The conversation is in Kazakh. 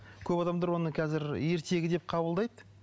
көп адамдар оны қазір ертегі деп қабылдайды